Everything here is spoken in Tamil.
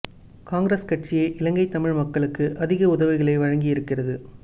காங்கிரஸ் கட்சியே இலங்கை தமிழ் மக்களுக்கு அதிக உதவிகளை வழங்கி இருக்கிறது